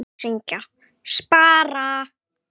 Þau syngja: SPARA!